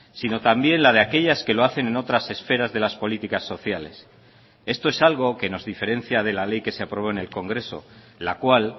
sino también la de aquellas que lo hacen en otras esferas de las políticas sociales esto es algo que nos diferencia de la ley que se aprobó en el congreso la cual